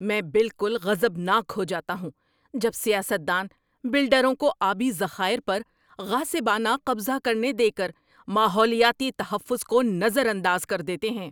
میں بالکل غضبناک ہو جاتا ہوں جب سیاست دان بلڈروں کو آبی ذخائر پر غاصبانہ قضہ کرنے دے کر ماحولیاتی تحفظ کو نظر انداز کر دیتے ہیں۔